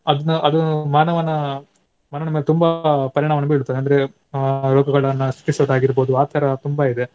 ಅದ್ನ ಅದು ಮಾನವನ ಮಾನವನ ತುಂಬಾ ಪರಿಣಾಮವನ್ನು ಬೀಳುತ್ತದೆ. ಅಂದ್ರೆ ಆ ರೋಗಗಳನ್ನ ಸೃಷ್ಟಿಸೋದಾಗಿರ್ಬೋದು ಆ ತರ ತುಂಬಾ ಇದೆ.